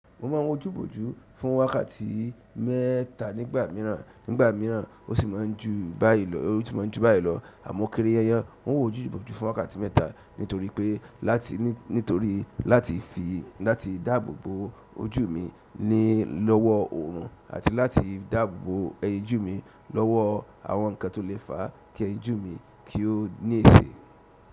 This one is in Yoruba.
Mo ma ń wọ ojúbojú fún wákàtí mẹ́ta nígbà mìíràn, nígbà mìíràn o sì máa ń jù báyìí lọ. Àmọ́ kírí yanyan, mo n wọ ojúbojú fún wákàtí mẹ́ta nítorí pe láti nítorí láti dáàbòbò ojú mi ni lọ́wọ́ oòrun àti láti dáàbòbò ẹyinjú mi lọ́wọ́ àwọn nǹkan tó lè fa kí ojú mi kí ó ní èsè.